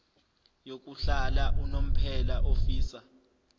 yokuhlala unomphela ofisa